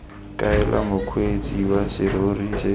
kaela mokgweetsi wa serori se